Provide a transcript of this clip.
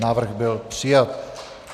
Návrh byl přijat.